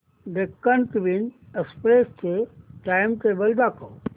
Deccan Queen Express चे timetable दाखव